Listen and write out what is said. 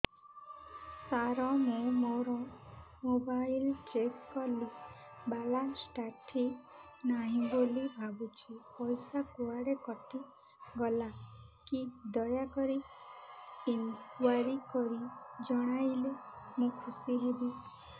ସାର ମୁଁ ମୋର mobile check କଲି ବାଲାନ୍ସ ଟା ଠିକ ନାହିଁ ବୋଲି ଭାବୁଛି ପଇସା କୁଆଡେ କଟି ଗଲା କି ଦୟାକରି ଇନକ୍ୱାରି କରି ଜଣାଇଲେ ମୁଁ ଖୁସି ହେବି